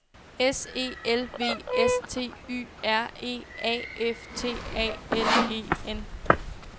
S E L V S T Y R E A F T A L E N